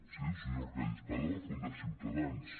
sí el senyor arcadi espada va fundar ciutadans